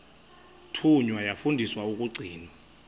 thunywa yafundiswa ukugcina